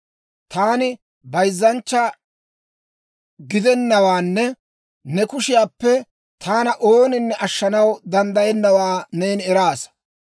Taani bayzzanchcha gidennawaanne ne kushiyaappe taana ooninne ashshanaw danddayennawaa neeni eraasa.